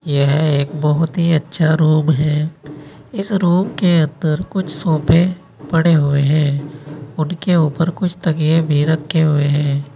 यह एक बहुत ही अच्छा रूम है इस रूम के अंदर कुछ सोफे पड़े हुए हैं उनके ऊपर कुछ तकिये भी रखे हुए हैं।